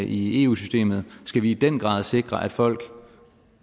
i eu systemet skal vi i den grad sikre at folk